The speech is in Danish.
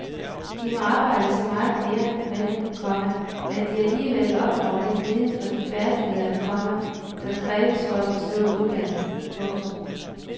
De må arbejde så meget mere med dem, komma at de alligevel opnår den viden og de færdigheder, komma der kræves for at bestå uddannelsen. punktum